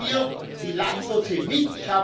Nehmen wir die Landwirte mit.